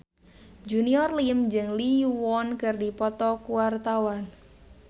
Junior Liem jeung Lee Yo Won keur dipoto ku wartawan